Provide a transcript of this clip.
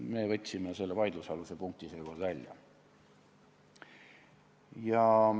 Seega võtsime me selle vaidlusaluse punkti seekord välja.